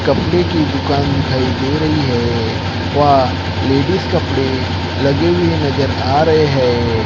कपड़े की दुकान दिखाई दे रही है वा लेडिस कपड़े लगे हुए नजर आ रहे हैं।